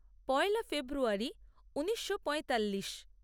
পয়লা ফেব্রুয়ারী ঊনিশো পঁয়তাল্লিশ